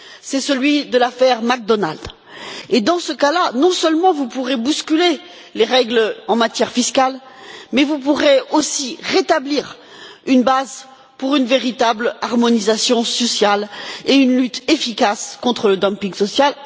C'est celui de l'affaire McDonald's, dans laquelle, non seulement vous pourrez bousculer les règles en matière fiscale, mais vous pourrez aussi rétablir une base pour une véritable harmonisation sociale et une lutte efficace contre dumping social.